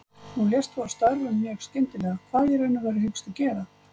Nú lést þú af störfum mjög skyndilega, hvað í raun og veru hyggstu gera?